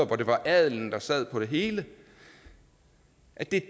hvor det var adelen der sad på det hele det